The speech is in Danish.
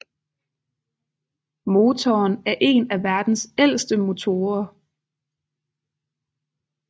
Motoren er en af verdens ældste motorer